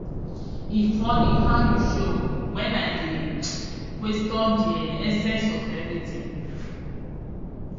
e funny how you show when i dey question the um essence of everything.